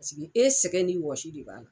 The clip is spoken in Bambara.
Pasigi e sɛgɛn n'i wɔsi de b'a la.